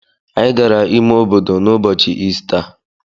Anyị gara ime obodo n’ụbọchị Ista.